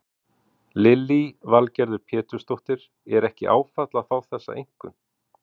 Lillý Valgerður Pétursdóttir: Er ekki áfall að fá þessa einkunn?